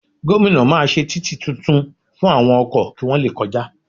Gomina máa ṣe títì tuntun fún àwọn ọkọ̀ kí wọ́n le kọjá